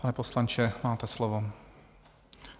Pane poslanče, máte slovo.